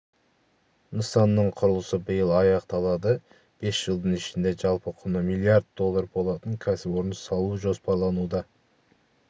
нысанның құрылысы биыл аяқталады бес жылдың ішінде жалпы құны млрд доллар болатын кәсіпорын салу жоспарлануда